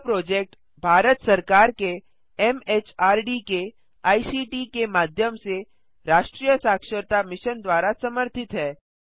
यह प्रोजेक्ट भारत सरकार के एमएचआरडी के आईसीटी के माध्यम से राष्ट्रीय साक्षरता मिशन द्वारा समर्थित है